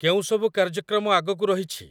କେଉଁସବୁ କାର୍ଯ୍ୟକ୍ରମ ଆଗକୁ ରହିଛି ?